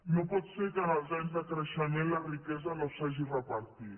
no pot ser que en els anys de creixement la riquesa no s’hagi repartit